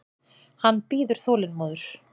Hann bíður þolinmóður.